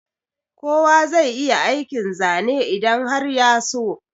Kowa zai iya aikin Zane idan har ya so.